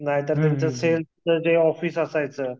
नाहीतर त्यांचं जे सेल्फ ऑफिस असायचं.